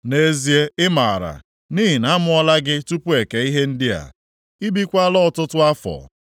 Nʼezie ị maara, nʼihi na a mụọla gị tupu e kee ihe ndị a! Ị bikwaala ọtụtụ afọ.